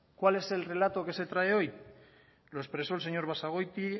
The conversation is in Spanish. cuál es el relato que se trae hoy lo expresó el señor basagoiti